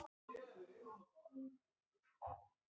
Því fleiri jarðskjálftar, því sterkari hús.